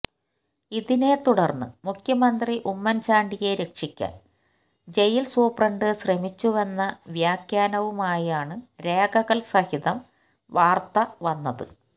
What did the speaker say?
ഇതിനെ തുടർന്ന് മുഖ്യമന്ത്രി ഉമ്മൻ ചാണ്ടിയെ രക്ഷിക്കാൻ ജയിൽ സൂപ്രണ്ട് ശ്രമിച്ചുവെന്ന വ്യാഖ്യാനവുമായാണ് രേഖകൾ സഹിതം വാർത്ത വന്നത്